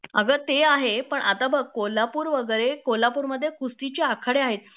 अगं ते आहे पण आता बघ कोल्हापूर वगैरे कोल्हापूरमध्ये कुस्तीचे आखाडे आहेत